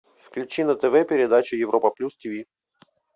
включи на тв передачу европа плюс тв